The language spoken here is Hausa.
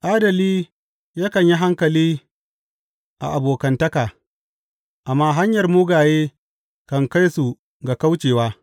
Adali yakan yi hankali a abokantaka, amma hanyar mugaye kan kai su ga kaucewa.